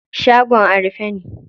Shagon a rufe ne.